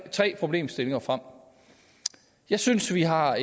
problemstillinger frem jeg synes vi har